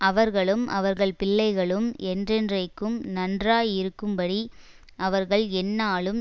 அவர்களும் அவர்கள் பிள்ளைகளும் என்றென்றைக்கும் நன்றாயிருக்கும்படி அவர்கள் எந்நாளும்